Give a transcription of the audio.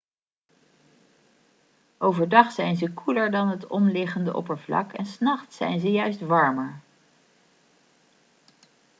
overdag zijn ze koeler dan het omliggende oppervlak en s nachts zijn ze juist warmer